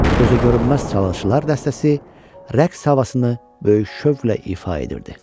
Gözəgörünməz çalğıçılar dəstəsi rəqs havasını böyük şövqlə ifa edirdi.